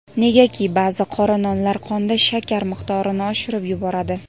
negaki ba’zi qora nonlar qonda shakar miqdorini oshirib yuboradi.